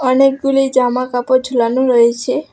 অনেকগুলি জামা কাপড় ঝুলানো রয়েছে।